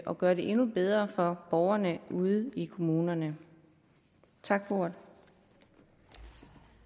at gøre det endnu bedre for borgerne ude i kommunerne tak for